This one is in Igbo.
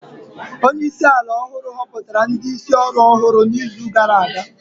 Onye isi ala ọhụrụ họpụtara ndị isi ọrụ ọhụrụ n'izu gara aga